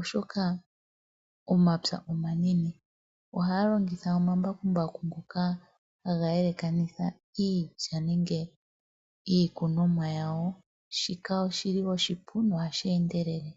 oshoka omapya omanene ohaya longitha omambakumbaku ngoka haga yelekanitha iilya nenge iikunomwa yawo shika oshili oshipu mohashi endelele.